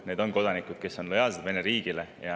Need on kodanikud, kes on lojaalsed Vene riigile.